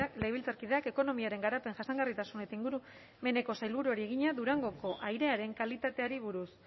legebiltzarkideak ekonomiaren garapen jasangarritasun eta ingurumeneko sailburuari egina durangoko airearen kalitateari buruz